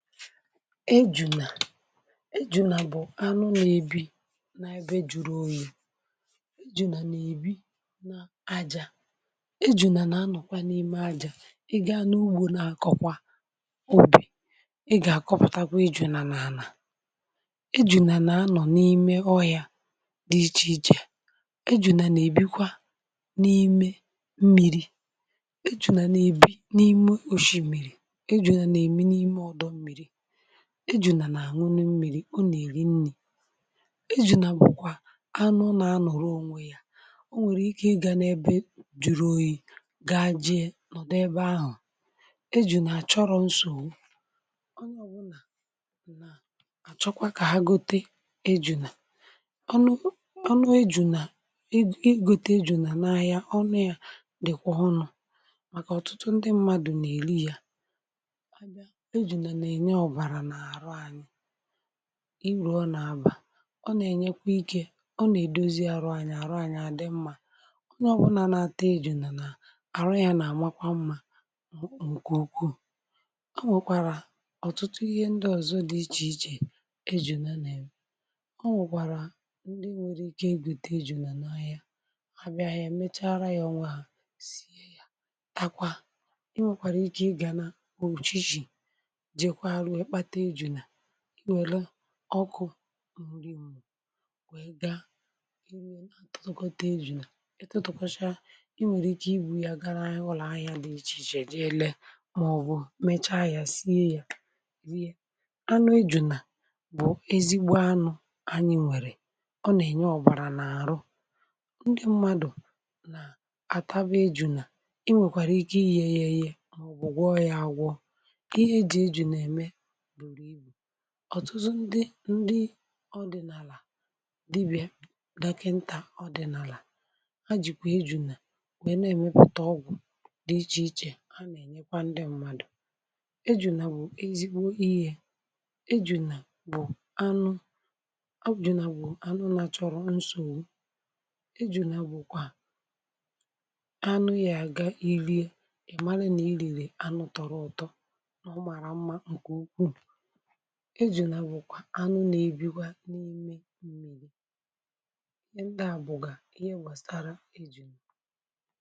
ejunà ejunà bụ̀ anụ nọ̀ ebi, na-ebe jụrụ ȯnyė. ejunà na-ebi na-aja, ejunà na-anọ̀kwa n’ime aja. i gà n’ugbȯ, um na-akọ̀kwà obì, ị gà-akọpụtakwa ejunà na-anọ̀. ejunà na-anọ̀ n’ime ọhịà dị iche ichè, ejunà na-ebikwà n’ime mmịrị̇, ejunà na-ebi n’ime osimịrị̀, ejunà na-eme n’ime ọdọ mmịrị̀, ejunà na-anwụnụ mmiri̇, o nà-èri nnì. ejunà bụ̀kwà anụ nà anụ̀rụ onwe ya, o nwèrè ike ị gàn’ebe juru oyi̇ gaa, jee nọ̀dụ ebe ahụ̀. ejunà àchọrọ̀ nsọ ọ nà ọ bụ̀ nà àchọkwa kà ha gote ejunà ọnụ. ejunà i gote ejunà n’ahịa, ọṅụ̀ ya dị̀kwà ọnụ̀ màkà ọ̀tụtụ ndị mmadụ̀ nà-èli ya. irùọ n’abà ọ nà-ènyekwa ikė, ọ nà-èdozi arụ ànyị̇. àrụ ànyị̇ adị mmȧ, onye ọbụla n’ata ejùnà nà-àmakwa mmȧ. nkè ukwuù, o nwèkwàrà ọ̀tụtụ ihe ndị ọ̀zọ dị ichè ichè, ejùnà na ejùnà na, o nwèkwàrà ndị nwere ike egwùte ejùnà n’ahịȧ ha, bịa ha mechara ya ọnwa ha. takwa ị nwèkwàrà ike ịgȧ na oven shì ihe were ọkụ nri mmụ̀, wee gaa iwiere, atotokota iju̇̇. ị tụtụkwacha i nwere ike, i bụ ya gara ụlọ ahịa dị iche iche je le, màọbụ mecha ya sie ya, bie anụ iju̇̇. na bụ ezigbo anụ ànyị̇ nwere, ọ na-enye ọbara n’arụ ndị mmadụ̀. na ataba iju̇̇ na, i nwekwara ike ihe yė yė, màọbụ gwọ ya, agwọ ihe eji iju̇̇ na-eme ọ̀tụzụ ndị ndị ọdị̀nàlà, dịbịà dàkịntà ọdị̀nàlà, ha jìkwà ejunà wèe na-èmepụ̀ta ọgwụ̀ dị ichè ichè. ha nà-ènyekwa ndị mmadụ̀. ejunà bụ̀ ezigbo ihe, ejunà bụ̀ anụ, ha bụ̀ ejunà, bụ̀ anụ nà chọ̀rọ̀ nsògbu. ejunà bụ̀kwà anụ yȧ àga irie, um ị̀ mara nà i lìlè anụ tọrọ̀ ọ̀tọ. ejunà bụ̀kwa anụ nà-ebikwa n’ime m̀mili. ndị à bụ̀gà ihe gbàsàrà ejùnù.